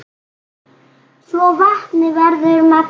svo vatnið verður mengað.